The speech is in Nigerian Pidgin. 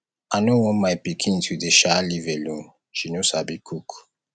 i no want my pikin to dey um live alone she no sabi cook